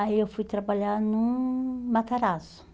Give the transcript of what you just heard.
Aí eu fui trabalhar no Matarazzo.